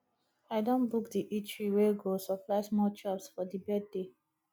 i don book di eatery wey go supply small chops for di birthday